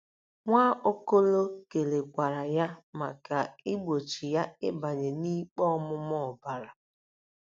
Nwaokolo kelekwara ya maka igbochi ya ịbanye n'ikpe ọmụma ọbara.